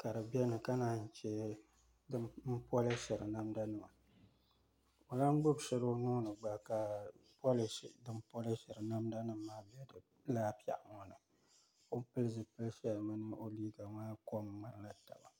ka di bɛni ka naanyi si ni pɔlishiri namda nima o lan gbubi shɛli o nuuni gba ka polishi dini poliahiri polishira namda nima maa bɛ lala pɛɣu ŋo ni o ni pili zipili shill mini o liiga maa kom mŋanila tba